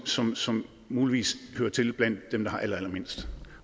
som som muligvis hører til blandt dem der har allerallermindst